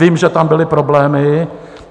Vím, že tam byly problémy.